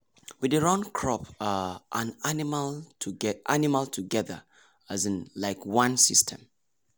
we dey run crop um and animal animal together um like one system.